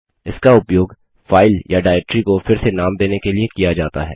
इसका उपयोग फाइल या डाइरेक्टरी को फिर से नाम देने के लिए किया जाता है